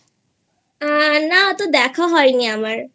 আ না অতো দেখা হয়নি আমারI